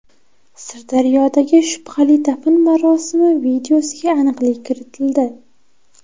Sirdaryodagi shubhali dafn marosimi videosiga aniqlik kiritildi.